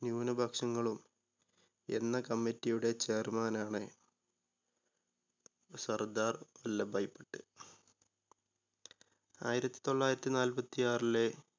ന്യൂനപക്ഷങ്ങളും എന്ന committiee യുടെ chairman ണ് സർദാർ വല്ലഭായി പട്ടേൽ. ആയിരത്തി തൊള്ളായിരത്തി നാല്പത്തിയാറിലെ